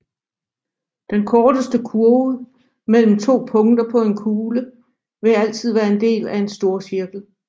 Den korteste kurve mellem to punkter på en kugle vil altid være en del af en storcirkel